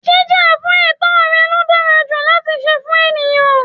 Jíjà fún ètó rẹ̀ ló dára ju láti se fún ènìyãn